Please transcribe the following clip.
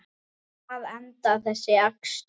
Hvar endar þessi akstur?